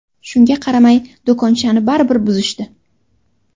Shunga qaramay, do‘konchani baribir buzishdi.